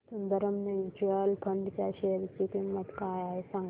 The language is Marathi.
सुंदरम म्यूचुअल फंड च्या शेअर ची किंमत काय आहे सांगा